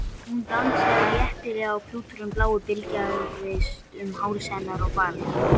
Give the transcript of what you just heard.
Hún dansaði léttilega og klúturinn blái bylgjaðist um háls hennar og barm.